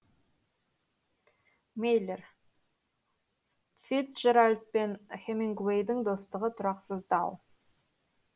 мейлер фицджеральд пен хемингуэйдің достығы тұрақсыздау